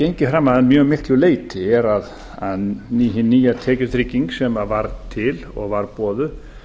gengið fram að mjög miklu leyti er að hin nýja tekjutrygging sem var til og var boðuð